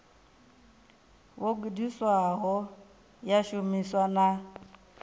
vho gudisiwaho ya shumiswa na